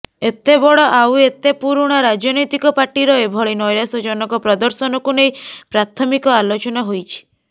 ଏତେ ବଡ଼ ଆଉ ଏତେ ପୁରୁଣା ରାଜନୈତିକ ପାର୍ଟିର ଏଭଳି ନୈରାସ୍ୟଜନକ ପ୍ରଦର୍ଶନକୁ ନେଇ ପ୍ରାଥମିକ ଆଲୋଚନା ହୋଇଛି